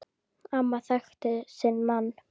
Amma þekkti sinn mann.